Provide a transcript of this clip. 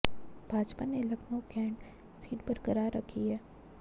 भाजपा ने Lucknow cantt seat बरकरार रखी है